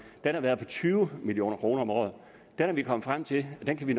har været på tyve million kroner om året og der er vi kommet frem til at vi